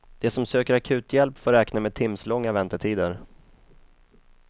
De som söker akuthjälp får räkna med timslånga väntetider.